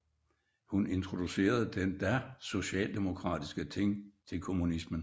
Hun introducerede den da socialdemokratiske Thing til kommunismen